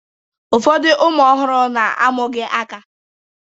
Ụfọdụ ụmụ ọhụrụ na-amụghị aka